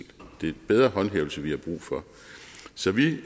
det er bedre håndhævelse vi har brug for så vi